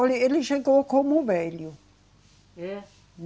Olhe, ele chegou como velho. É?